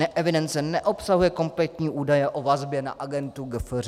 Evidence neobsahuje kompletní údaje o vazbě na agendu GFŘ.